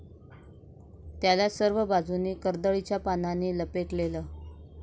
त्याला सर्व बाजुनी कर्दळीच्या पानांनी लपेटलेले.